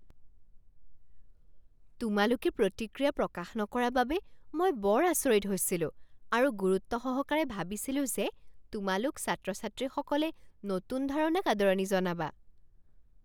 তোমালোকে প্ৰতিক্ৰিয়া প্ৰকাশ নকৰা বাবে মই বৰ আচৰিত হৈছিলো আৰু গুৰুত্বসহকাৰে ভাবিছিলো যে তোমালোক ছাত্ৰ ছাত্ৰীসকলে নতুন ধাৰণাক আদৰণি জনাবা।